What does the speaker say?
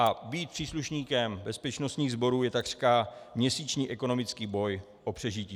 A být příslušníkem bezpečnostních sborů je takřka měsíční ekonomický boj o přežití.